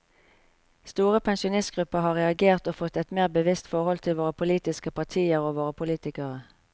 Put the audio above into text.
Store pensjonistgrupper har reagert og fått et mer bevisst forhold til våre politiske partier og våre politikere.